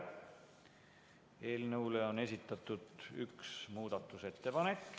Eelnõu kohta on esitatud üks muudatusettepanek.